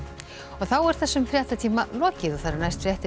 þá er þessum fréttatíma lokið næstu fréttir